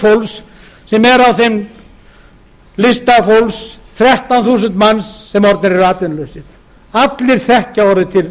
fólks sem er á þeim lista þrettán þúsund manns sem orðnir eru atvinnulausir allir þekkja orðið til